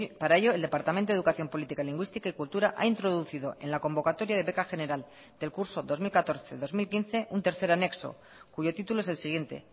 para ello el departamento de educación política lingüística y cultura ha introducido en la convocatoria de beca general del curso dos mil catorce dos mil quince un tercer anexo cuyo título es el siguiente